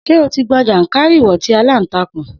Sé o ti gbọn jàǹkàárìwọ̀ tí aláǹtàkùn.